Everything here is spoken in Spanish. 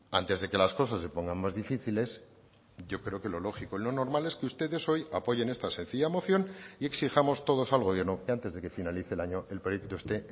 antes de que las cosas se pongan más difíciles yo creo que lo lógico y lo normal es que ustedes hoy apoyen esta sencilla moción y exijamos todos al gobierno y antes de que finalice el año el proyecto este